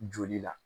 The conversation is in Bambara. Joli la